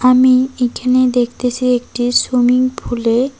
আমি এইখানে দেখতেসি একটি সুইমিং ফুল -এ--